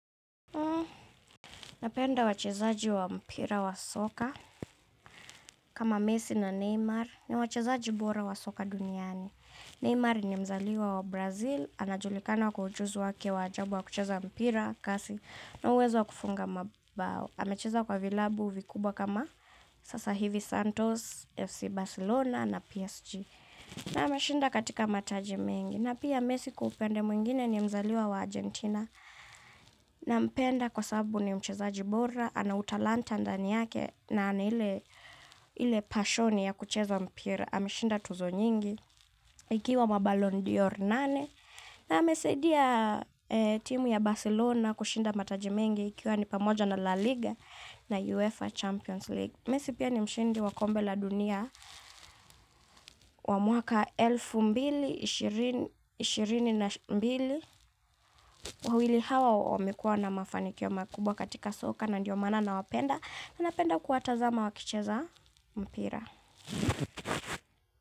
Napenda wachezaji wa mpira wa soka kama Messi na Neymar ni wachezaji bora wa soka duniani. Neymar ni mzaliwa wa Brazil, anajulikana wako ujuzi wake wa ajabu wa kucheza mpira kasi na uwezo kufunga mabao. Amecheza kwa vilabu vikubwa kama sasa hivi Santos, FC Barcelona na PSG. Na ameshinda katika mataji mengi. Na pia Messi kupende mwingine ni mzaliwa wa Argentina. Nampenda kwa sababu ni mchezaji bora, anautalanta ndani yake na anaile pashoni ya kucheza mpira. Ameshinda tuzo nyingi, ikiwa maballon d'Or nane. Na amesaidia timu ya Barcelona kushinda mataji mengi ikiwa ni pamoja na La Liga na UEFA Champions League. Messi pia ni mshindi wakombe la dunia wa mwaka elfu mbili ishirini na mbili. Wawili hawa wamekuwa na mafanikio makubwa katika soka na ndiyo maana nawapenda. Ninapenda kuwatazama wakicheza mpira.